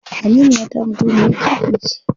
Aminiyata mutumiyar kirki ce.